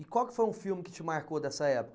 E qual que foi um filme que te marcou dessa